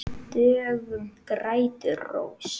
Döggum grætur rós.